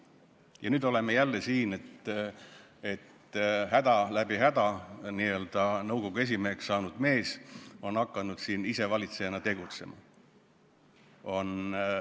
Ja nüüd oleme jälle probleemi ees: läbi häda nõukogu esimeheks saanud mees on hakanud isevalitsejana tegutsema.